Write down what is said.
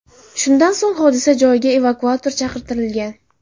Shundan so‘ng hodisa joyiga evakuator chaqirtirilgan.